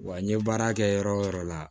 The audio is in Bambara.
Wa n ye baara kɛ yɔrɔ o yɔrɔ la